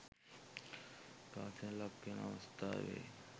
ඝාතනයට ලක්‌වන අවස්‌ථාවේ